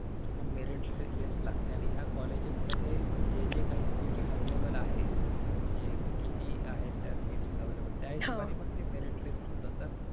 कि मग merit list लागते आणि ह्या colleges मध्ये जे जे काही seats available आहे म्हणजे किती आहे त्या seats available त्या हिशोबाने ते merit list होत.